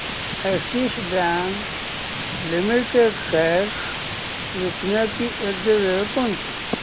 Axis Bank Limited shares विकण्याची योग्य वेळ कोणती